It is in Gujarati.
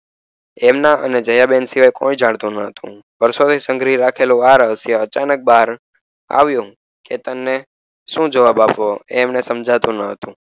દયા બેન સિવાય કોઈ જાણતું ન હતું વર્ષો થી સંઘરી રાખેલું અચાનક બહાર આવ્યુ કેતન ને સુ જવાબ એવો એ એને સમજાતું ન હતું.